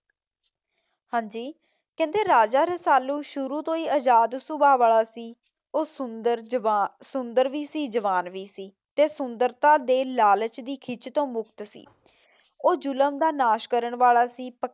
ਹਾਂਜੀ ਕਹਿੰਦੇ ਰਾਜਾ ਰਸਾਲੂ ਸ਼ੁਰੂ ਤੋਂ ਹੀ ਆਜ਼ਾਦ ਸੁਭਾਅ ਵਾਲਾ ਸੀ। ਉਹ ਸੁੰਦਰ ਵੀ ਸੀ ਜਵਾਨ ਵੀ ਸੀ ਤੇ ਸੁੰਦਰਤਾ ਦੇ ਲਾਲਚ ਦੀ ਖਿੱਚ ਤੇ ਮੁਕਤ ਸੀ। ਉਹ ਜ਼ੁਲਮ ਦਾ ਨਾਸ਼ ਕਰਨ ਵਾਲਾ ਸੀ।